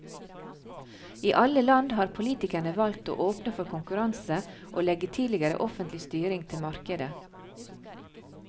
I alle land har politikerne valgt å åpne for konkurranse og legge tidligere offentlig styring til markedet.